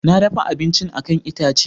Na dafa abincin a kan itace.